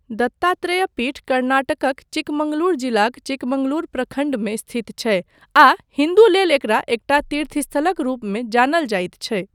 दत्तात्रेय पीठ कर्नाटकक चिकमगलूर जिलाक चिकमगलूर प्रखण्डमे स्थित छै आ हिन्दू लेल एकरा एकटा तीर्थस्थलक रूपमे जानल जाइत छै।